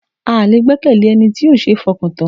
A lè gbẹ́kẹ̀lé Ẹni tí ó ṣe ń fọkàn tán.